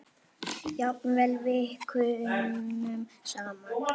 Jafnvel vikunum saman.